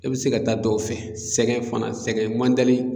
E bɛ se ka taa dɔw fɛ sɛgɛ fana sɛgɛn man dali